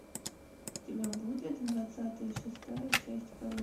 у тебя будет двадцатая шестая часть